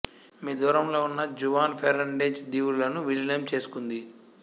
మీ దూరంలో ఉన్న Juan Fernandez దీవులు లను విలీనం చేసుకుంది